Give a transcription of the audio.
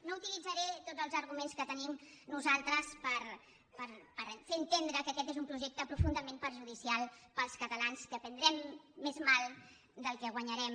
no utilitzaré tots els arguments que tenim nosaltres per fer entendre que aquest és un projecte profundament perjudicial per als cata·lans que prendrem més mal del que guanyarem